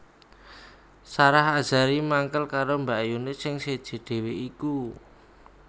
Sarah Azhari mangkel karo mbakyune sing seje dhewe iku